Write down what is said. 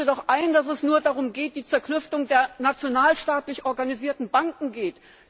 Gestehen Sie doch ein, dass es nur um die Zerklüftung der nationalstaatlich organisierten Banken geht!